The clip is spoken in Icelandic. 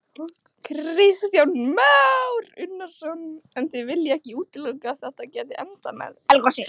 Kristján Már Unnarsson: En þið viljið ekki útiloka að þetta geti endað með eldgosi?